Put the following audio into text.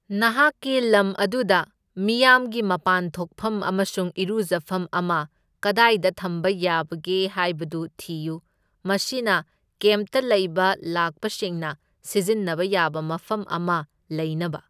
ꯅꯍꯥꯛꯀꯤ ꯂꯝ ꯑꯗꯨꯗ ꯃꯤꯌꯥꯝꯒꯤ ꯃꯄꯥꯟ ꯊꯣꯛꯐꯝ ꯑꯃꯁꯨꯡ ꯏꯔꯨꯖꯐꯝ ꯑꯃ ꯀꯗꯥꯏꯗ ꯊꯝꯕ ꯌꯥꯕꯒꯦ ꯍꯥꯏꯕꯗꯨ ꯊꯤꯌꯨ, ꯃꯁꯤꯅ ꯀꯦꯝꯞꯇ ꯂꯩꯕ ꯂꯥꯛꯄꯁꯤꯡꯅ ꯁꯤꯖꯤꯟꯅꯕ ꯌꯥꯕ ꯃꯐꯝ ꯑꯃ ꯂꯩꯅꯕ꯫